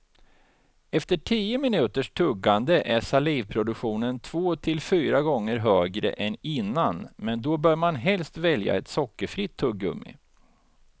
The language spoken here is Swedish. Efter tio minuters tuggande är salivproduktionen två till fyra gånger högre än innan men då bör man helst välja ett sockerfritt tuggummi.